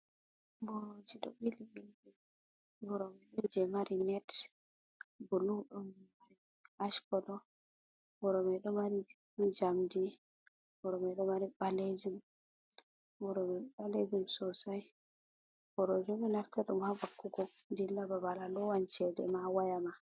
Boroji do ɓili- ɓili. Ɓorome ɗon je mari net, bulu, ɗo ash Colo, boro mai ɗo mari jamdi, boro ɗomari balejum, borome balejum sosai, borojobi naftira ɗum ha vakkugo dila babal, alowan chedema, wayama.